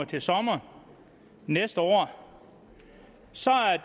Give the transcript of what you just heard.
til sommeren næste år så